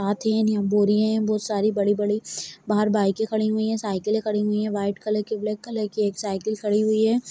है यहाँ बोरी है बहुत सारी बड़ी बड़ी बहार बाइके खड़ी हुई है साइकिले खड़ी हुई है व्हाइट कलर की ब्लैक कलर की एक साइकिल खड़ी हुई है।